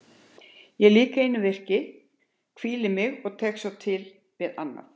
Ég lýk einu verki, hvíli mig og tekst svo á við annað.